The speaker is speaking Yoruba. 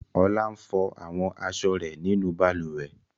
Olá ń fọ àwọn aṣọ rẹ̀ nínú balùwẹ̀.